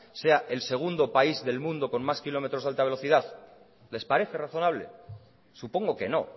sea el segundo del país del mundo con más kilómetros de alta velocidad les parece razonable supongo que no